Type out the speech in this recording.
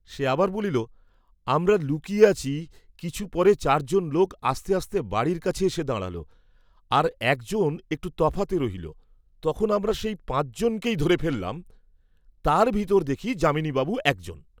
সে আবার বলিল, "আমরা লুকিয়ে আছি, কিছু পরে চারজন লোক আস্তে আস্তে বাড়ির কাছে এসে দাঁড়াল, আর একজন একটু তফাতে রইল, তখনি আমরা সেই পাঁচজনকেই ধরে ফেল্লাম, তার ভিতর দেখি, যামিনী বাবু একজন।"